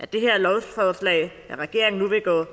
det her lovforslag nu vil gå